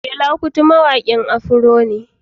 Fela kuti mawaƙin Afro ne